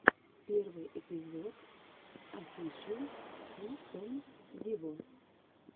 первый эпизод офишел си кэн виво